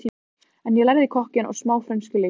En ég lærði kokkinn og smá frönsku líka og